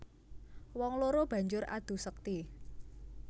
Wong loro banjur adu sekti